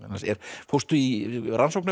fórstu í rannsóknarvinnu